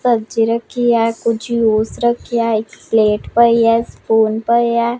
ਸਬਜੀ ਰੱਖੀ ਐ ਕੁਝ ਜੂਸ ਰੱਖਿਐ ਇੱਕ ਪਲੇਟ ਪਈ ਐ ਸਪੂਨ ਪਏ ਐ।